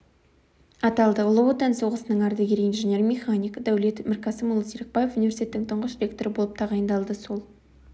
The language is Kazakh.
аталды ұлы отан соғысының ардагері инженер-механик дәулет мірқасымұлы серікбаев университеттің тұңғыш ректоры болып тағайындалды сол